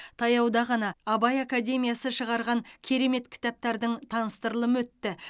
таяуда ғана абай академиясы шығарған керемет кітаптардың таныстырылымы өтті